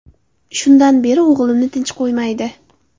Shundan beri o‘g‘limni tinch qo‘ymaydi.